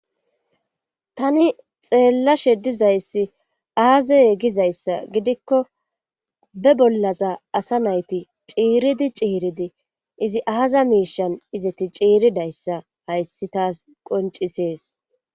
tani xeellashe dizayssi aaze gizayssa gidikko be bollaza asa nayti ciiridi ciiridi izi aaza miishan izeti ciiridayssa hayssi taas qoncisees